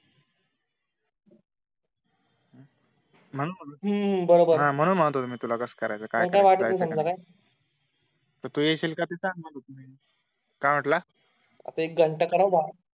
हम्म म्ह्णून म्हणत होत हम्म बरोबर तू येशील का तिथे काय म्हटलं